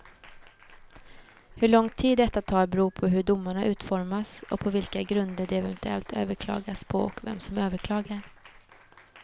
Hur lång tid detta tar beror på hur domarna utformas och på vilka grunder de eventuellt överklagas på och vem som överklagar.